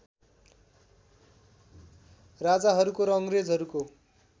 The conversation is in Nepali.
राजाहरूको र अङ्ग्रेजहरूको